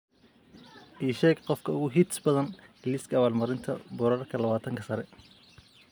ii sheeg qofka ugu hits badan liiska abaal marinta boorarka labaatanka sare